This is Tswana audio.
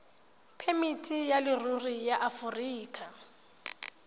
phemiti ya leruri ya aforika